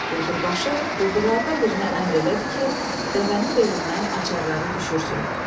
Quldurbaşı quldurlardan birinə əmr elədi ki, dəvənin belindən açarları düşürsün.